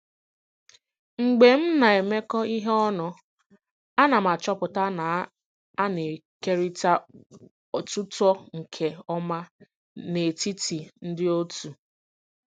Mgbe m na-emekọ ihe ọnụ, a na m achọpụta na a na-ekerịta otuto nke ọma n'etiti ndị otu.